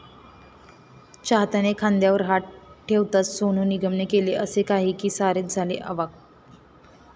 चाहत्याने खांद्यावर हात ठेवताच सोनू निगमने केलं असं काही की सारेच झाले अवाक्!